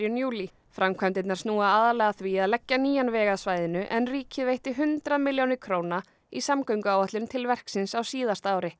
júlí framkvæmdirnar snúa aðallega að því að leggja nýjan veg að svæðinu en ríkið veitti hundrað milljónir króna í samgönguáætlun til verksins á síðasta ári